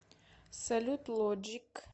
салют лоджик